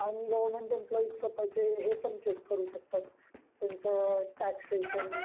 आणि government employee पाहिजे तर हे पण चेक करू शकता त्यांचं टॅक्सेशन